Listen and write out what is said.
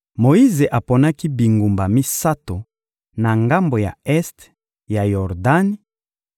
Moyize aponaki bingumba misato na ngambo ya este ya Yordani,